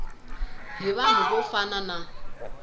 hi vanhu vo fana na